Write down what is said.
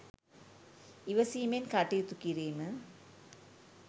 ඉවසීමෙන් කටයුතු කිරීම